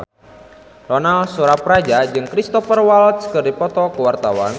Ronal Surapradja jeung Cristhoper Waltz keur dipoto ku wartawan